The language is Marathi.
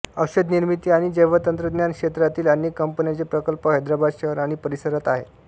औषधनिर्मिती आणि जैवतंत्रज्ञान क्षेत्रातील अनेक कंपन्यांचे प्रकल्प हैदराबाद शहर आणि परिसरात आहेत